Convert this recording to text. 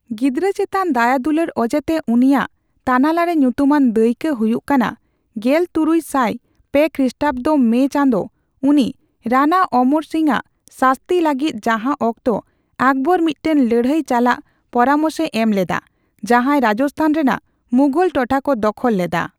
ᱜᱤᱫᱽᱨᱟᱹ ᱪᱮᱛᱟᱱ ᱫᱟᱭᱟ ᱫᱩᱞᱟᱹᱲ ᱚᱡᱮᱛᱮ ᱩᱱᱤᱭᱟᱜ ᱛᱟᱱᱟᱞᱟᱨᱮ ᱧᱩᱛᱩᱢᱟᱱ ᱫᱟᱹᱭᱠᱟᱹ ᱦᱩᱭᱩᱜ ᱠᱟᱱᱟ ᱜᱮᱞᱛᱩᱨᱩᱭ ᱥᱟᱭ ᱯᱮ ᱠᱷᱨᱤᱥᱴᱟᱵᱫᱚ ᱢᱮ ᱪᱟᱸᱫᱚ ᱩᱱᱤ ᱨᱟᱱᱟ ᱚᱢᱚᱨ ᱥᱤᱝ ᱟᱜ ᱥᱟᱥᱛᱤ ᱞᱟᱹᱜᱤᱫ ᱡᱟᱦᱟ ᱚᱠᱛᱚ ᱟᱠᱵᱚᱨ ᱢᱤᱫᱴᱟᱝ ᱞᱟᱹᱲᱦᱟᱹᱭ ᱪᱟᱞᱟᱜ ᱯᱚᱨᱢᱮᱥᱮ ᱮᱢ ᱞᱮᱫᱟ ᱡᱟᱦᱟᱭ ᱨᱟᱡᱥᱛᱷᱟᱱ ᱨᱮᱱᱟᱜ ᱢᱩᱜᱷᱚᱞ ᱴᱚᱴᱷᱟ ᱠᱚ ᱫᱚᱜᱷᱚᱞ ᱞᱮᱫᱟ᱾